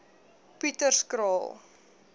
pieterskraal